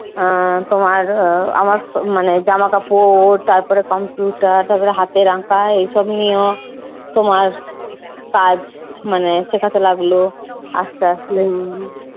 আহ তোমার আমার সব মানে জামাকাপড়, তারপরে computer, তারপর হাতের আঁকা, এইসব নিও তোমার কাজ মানে শেখাতে লাগলো আসতে আসতে।